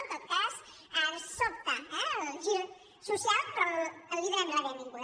en tot cas ens sobta eh el gir social però li donem la benvinguda